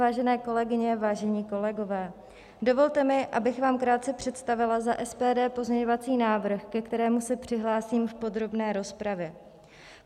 Vážené kolegyně, vážení kolegové, dovolte mi, abych vám krátce představila za SPD pozměňovací návrh, ke kterému se přihlásím v podrobné rozpravě.